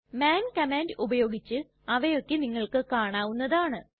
മാൻ command ഉപയോഗിച്ച് അവയൊക്കെ നിങ്ങൾക്ക് കാണാവുന്നതാണ്